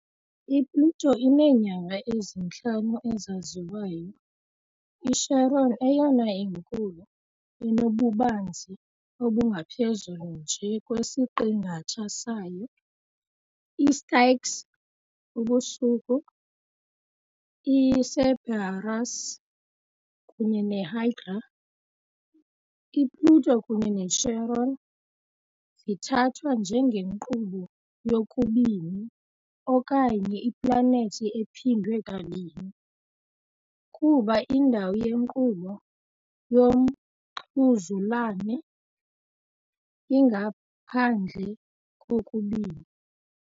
I-Pluto ineenyanga ezintlanu ezaziwayo - iCharon, eyona inkulu, inobubanzi obungaphezulu nje kwesiqingatha sayo, iStyx, Ubusuku, iCerberus, kunye neHydra . I-Pluto kunye ne-Charon zithathwa njengenkqubo yokubini okanye iplanethi ephindwe kabini, kuba indawo yenkqubo yomxhuzulane ingaphandle kokubini.